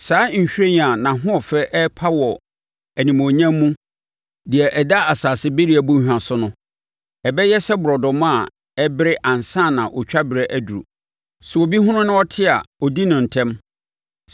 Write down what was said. Saa nhwiren a nʼahoɔfɛ ɛrepa wɔ animuonyam mu deɛ ɛda asase bereɛ bɔnhwa so no, ɛbɛyɛ sɛ borɔdɔma a ɛbere ansa na otwa berɛ aduru. Sɛ obi hunu na ɔte a ɔdi no ntɛm so.